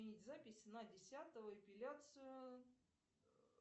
отменить запись на десятое эпиляцию